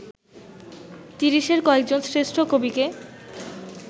তিরিশের কয়েকজন শ্রেষ্ঠ কবিকে